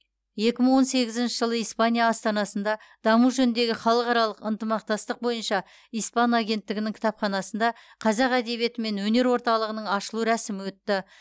екі мың он сегізінші жылы испания астанасында даму жөніндегі халықаралық ынтымақтастық бойынша испан агенттігінің кітапханасында қазақ әдебиеті мен өнер орталығының ашылу рәсімі өтті